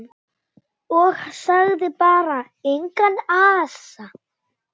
Og sagði bara: Engan asa.